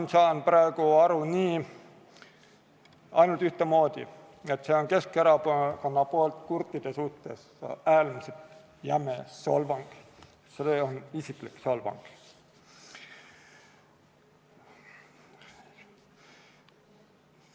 Ma saan praegu aru ainult ühtemoodi: see on Keskerakonna poolt kurtide suhtes äärmiselt jäme solvang, see on isiklik solvang.